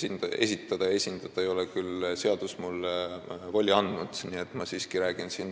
Nii et ma räägin siin siiski